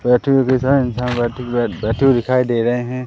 इंसान बैठे हुए दिखाई दे रहे हैं।